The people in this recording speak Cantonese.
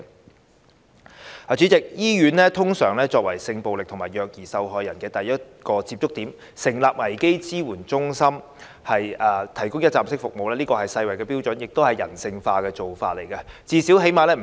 代理主席，醫院通常作為性暴力及虐兒受害人的第一個接觸點，成立危機支援中心提供一站式服務，是世衞標準，亦是人性化的做法。